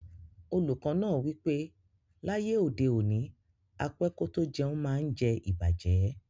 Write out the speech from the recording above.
Oluko naa wipe laye ode oni, á pẹ kò tó jẹ̀un maá ǹ jẹ̀ ìbàjẹ́.